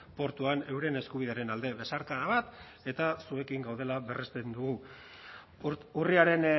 portuan euren eskubidearen alde besarkada bat eta zuekin gaudela berresten dugu urriaren